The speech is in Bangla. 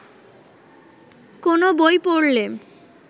কোনও বই পড়লে